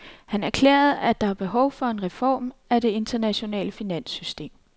Han erklærede, at der er behov for en reform af det internationale finanssystem.